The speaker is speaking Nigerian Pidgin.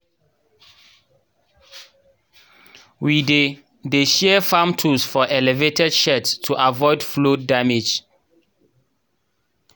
we dey dey store farm tools for elevated sheds to avoid flood damage